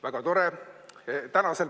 Väga tore!